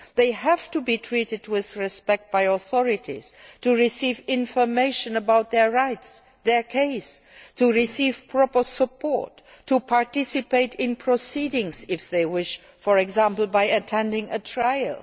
They have to be treated with respect by authorities, to receive information about their rights, their case, to receive proper support, and to participate in proceedings if they wish, for example by attending the trial.